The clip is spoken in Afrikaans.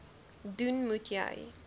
doen moet jy